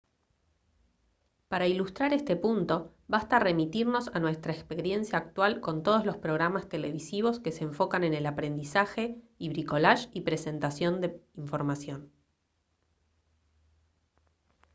para ilustrar este punto basta remitirnos a nuestra experiencia actual con todos los programas televisivos que se enfocan en el aprendizaje y bricolaje y presentación de información